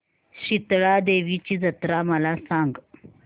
शितळा देवीची जत्रा मला सांग